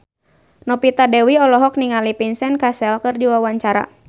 Novita Dewi olohok ningali Vincent Cassel keur diwawancara